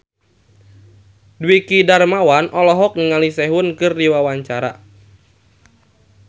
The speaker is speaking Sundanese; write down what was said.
Dwiki Darmawan olohok ningali Sehun keur diwawancara